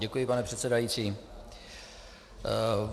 Děkuji, pane předsedající.